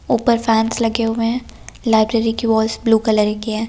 ऊपर फैंस लगे हुए हैं लाइब्रेरी की वॉल्स ब्लू कलर की है।